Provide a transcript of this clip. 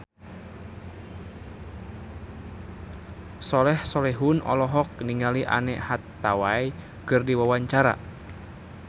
Soleh Solihun olohok ningali Anne Hathaway keur diwawancara